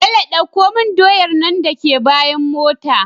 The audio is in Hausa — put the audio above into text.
Bello ɗauko mun doyar nan daka bayan mota